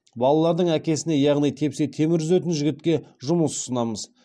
балалардың әкесіне яғни тепсе темір үзетін жігітке жұмыс ұсынамыз